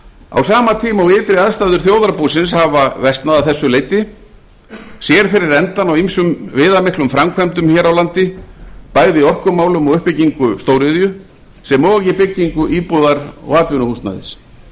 á sama tíma og ytri aðstæður þjóðarbúsins hafa versnað að þessu leyti sér fyrir endann á ýmsum viðamiklum framkvæmdum hér á landi bæði í orkumálum og uppbyggingu stóriðju sem og í byggingu íbúðar og atvinnuhúsnæðis